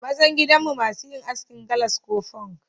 Mazan gidan mu masu yin askin galas ko funk.